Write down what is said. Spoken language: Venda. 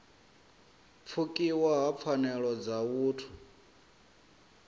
pfukiwa ha pfanelo dza vhuthu